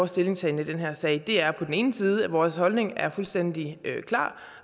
stillingtagen i den her sag er på den ene side at vores holdning er fuldstændig klar